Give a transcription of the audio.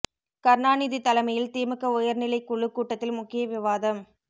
கருணாநிதி தலைமையில் திமுக உயர் நிலைக் குழுக் கூட்டத்தில் முக்கிய விவாதம்